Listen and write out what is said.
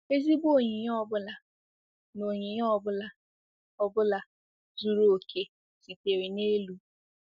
"Ezigbo onyinye ọ bụla na onyinye ọ bụla ọ bụla zuru oke sitere n'elu."